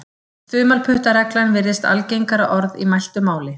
Þumalputtaregla virðist algengara orð í mæltu máli.